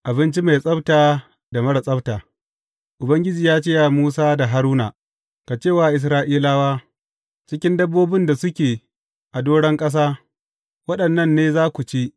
Abinci mai tsabta da marar tsabta Ubangiji ya ce wa Musa da Haruna, Ku ce wa Isra’ilawa, Cikin dabbobin da suke a doron ƙasa, waɗannan ne za ku ci.